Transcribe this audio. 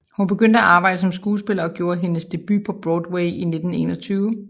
Hun begyndte at arbejde som skuespiller og gjorde hendes debut på Broadway i 1921